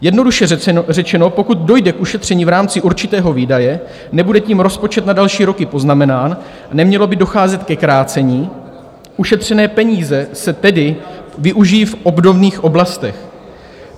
Jednoduše řečeno, pokud dojde k ušetření v rámci určitého výdaje, nebude tím rozpočet na další roky poznamenán, nemělo by docházet ke krácení, ušetřené peníze se tedy využijí v obdobných oblastech.